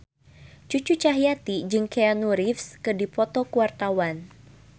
Cucu Cahyati jeung Keanu Reeves keur dipoto ku wartawan